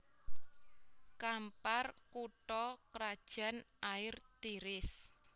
Kampar kutha krajan Air Tiris